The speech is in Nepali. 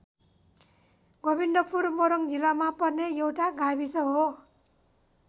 गोविन्दपुर मोरङ जिल्लामा पर्ने एउटा गाविस हो।